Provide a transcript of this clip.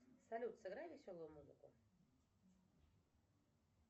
салют сыграй веселую музыку